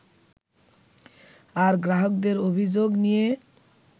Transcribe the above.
আর গ্রাহকদের অভিযোগ নিয়ে